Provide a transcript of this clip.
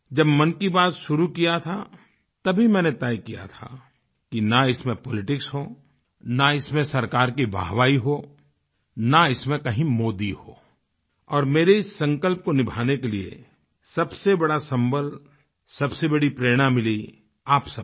जब मन की बात शुरू किया था तभी मैंने तय किया था कि न इसमें पॉलिटिक्स हो न इसमें सरकार की वाहवाही हो न इसमें कहीं मोदी हो और मेरे इस संकल्प को निभाने के लिये सबसे बड़ा संबल सबसे बड़ी प्रेरणा मिली आप सबसे